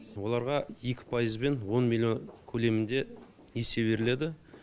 оларға екі пайызбен он миллион көлемінде несие беріледі